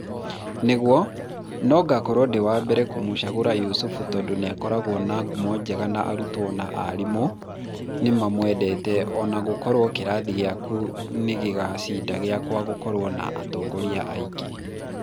nĩguo, no ngakorwo ndĩwambere kũmũcagura Yusuf tondũ nĩakoragwo na ngumo njega na arutwo na arimũ nĩmamwendete ona gũkorwo kĩrathi gĩaku nĩ gĩgũcinda gĩakwa gũkorwo na atongoria aingĩ